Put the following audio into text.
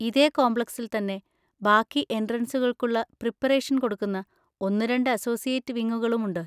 ഇതേ കോംപ്ലക്സിൽ തന്നെ ബാക്കി എൻട്രൻസുകൾക്കുള്ള പ്രിപറേഷൻ കൊടുക്കുന്ന ഒന്നുരണ്ട് അസോസിയേറ്റ് വിങ്ങുകളുമുണ്ട്.